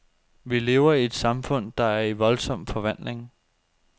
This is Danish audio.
Vi lever i et samfund, der er i voldsom forvandling.